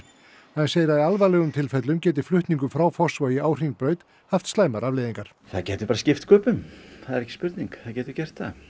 hann segir að í alvarlegum tilfellum geti flutningur frá Fossvogi á Hringbraut haft afleiðingar það getur bara skipt sköpum það er ekki spurning það getur gert það